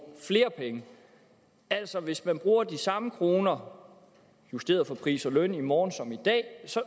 flere penge altså hvis man bruger de samme kroner justeret for pris og løn i morgen som i dag